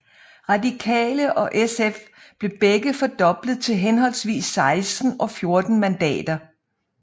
Radikale og SF blev begge fordoblet til henholdsvis 16 og 14 mandater